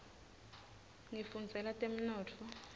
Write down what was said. ngifundzela temnotfo